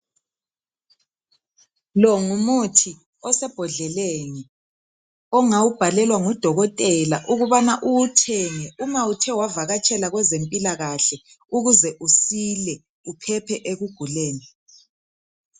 Longumuthi osebhodleleni ongawubhalelwa ngudokotela ukubana uwuthenge uma uthe wavakatshela kwezempilakahle ukuze usile uphephe ekuguleni.